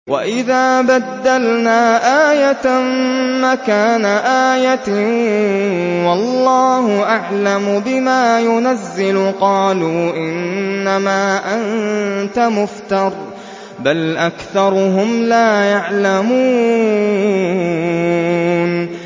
وَإِذَا بَدَّلْنَا آيَةً مَّكَانَ آيَةٍ ۙ وَاللَّهُ أَعْلَمُ بِمَا يُنَزِّلُ قَالُوا إِنَّمَا أَنتَ مُفْتَرٍ ۚ بَلْ أَكْثَرُهُمْ لَا يَعْلَمُونَ